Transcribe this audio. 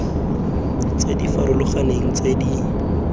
tse di farologaneng tse di